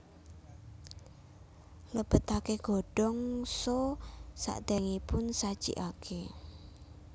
Lebetake godhong so sakderengipun sajikake